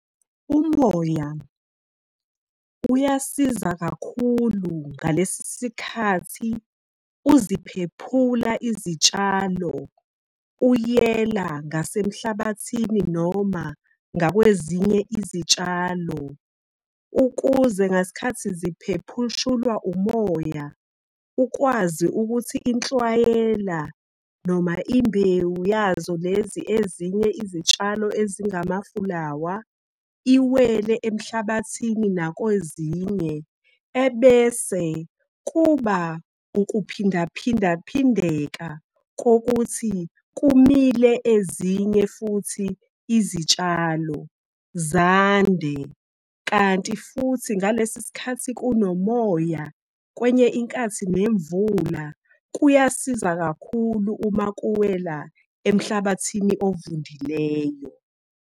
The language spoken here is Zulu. Umoya uyasiza kakhulu ngalesisikhathi uziphephula izitshalo, uyela ngase emhlabathini noma ngakwezinye izitshalo. Ukuze ngasikhathi umoya ukwazi ukuthi inhlwayela noma imbewu yazo lezi ezinye izitshalo ezingamafulawa, iwele emhlabathini nakwezinye. Ebese kuba ukuphindaphinda phindeka kokuthi kumile ezinye futhi izitshalo zande. Kanti futhi, ngalesisikhathi kunomoya kwenye inkathi nemvula kuyasiza kakhulu uma kuwela emhlabathini ovundileyo.